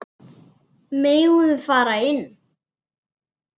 Megum við fara inn?